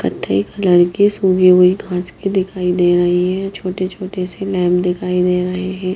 कथेई colour के सूगी हुई खांच की दिखाई दे रही है छोटे-छोटे से लैम दिखाई दे रहे हैं।